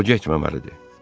O getməməlidir.